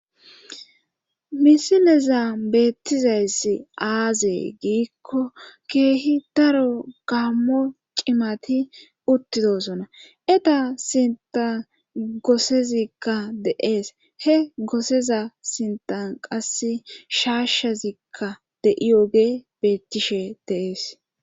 misineza beettizayssi aazee giikko keehi daro gammo cimati uttidosona eta sinta goosezikka deees he goseza sintan qas shaashezikka de7iyoge beettishe deees